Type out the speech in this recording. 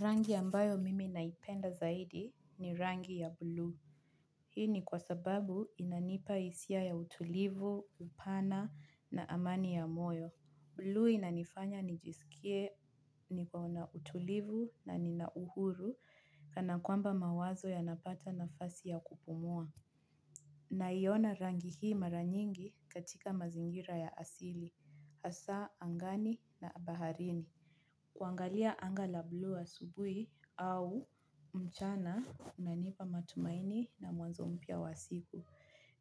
Rangi ambayo mimi naipenda zaidi ni rangi ya buluu hii ni kwa sababu inanipa hisia ya utulivu upana na amani ya moyo. Buluu inanifanya nijisikie nikona utulivu na nina uhuru kanakwamba mawazo yanapata nafasi ya kupumua. Naiona rangi hii mara nyingi katika mazingira ya asili, hasa, angani na baharini. Kuangalia anga la buluu asubuhi au mchana unanipa matumaini na mwanzo mpya wa siku.